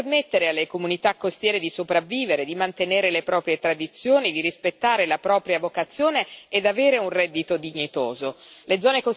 Allora come permettere alle comunità costiere di sopravvivere, di mantenere le proprie tradizioni, di rispettare la propria vocazione e di avere un reddito dignitoso?